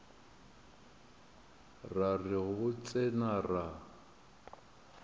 ra re go tsena ra